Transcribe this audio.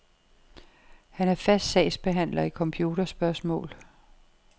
Han er fast sagsbehandler i computerspørgsmål.